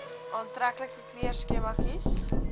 aantreklike kleurskema kies